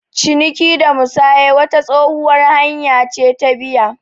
Ciniki da musaya wata tsohuwar hanya ce ta biya.